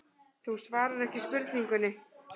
Þú svarar ekki spurningunni.